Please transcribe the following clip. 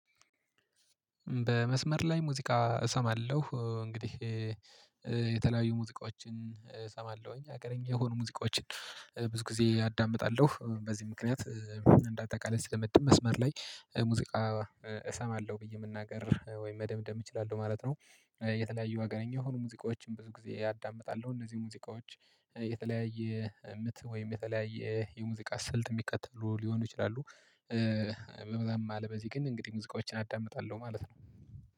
በመስመር ላይ ሙዚቃ እሰማለሁ እንግዲህ የተለያዩ ሙዚቃዎችን እሰማለሁኝ አገርኝ የሆኑ ሙዚቃዎችን ብዙ ጊዜ አዳምጣለሁ በዚህ ምክንያት እንዳጠቃለይ ስደመድም መስመር ላይ ሙዚቃ እሰማለሁ ብዬ የምናገር ወይም መደምደም እችላለሁ ማለት ነው። የተለያዩ አገርኛ የሆኑ ሙዚቃዎችን ብዙ ጊዜ አዳምጣለሁ እነዚህ ሙዚቃዎች የተለያየ ምት ወይም የተለያየ የሙዚቃ ስልት የሚከተሉ ሊሆኑ ይችላሉ። ምናምን ማለበዚህ ግን እንግዲህ ሙዚቃዎችን አዳምጣለሁ ማለት ነው